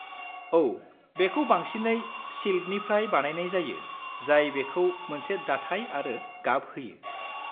औ, बेखौ बांसिनै सिल्कनिफ्राय बानायनाय जायो जाय बेखौ मोनसे दाथाय आरो गाब होयो।